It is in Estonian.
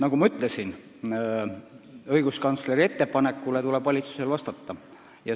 Nagu ma ütlesin, õiguskantsleri ettepanekule tuleb valitsusel vastata.